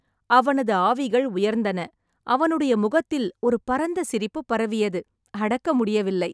அவனது ஆவிகள் உயர்ந்தன, அவனுடைய முகத்தில் ஒரு பரந்த சிரிப்பு பரவியது, அடக்க முடியவில்லை.